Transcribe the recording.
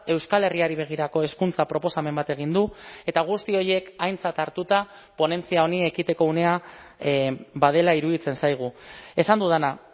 euskal herriari begirako hezkuntza proposamen bat egin du eta guzti horiek aintzat hartuta ponentzia honi ekiteko unea badela iruditzen zaigu esan dudana